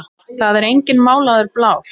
Það er enginn málaður blár.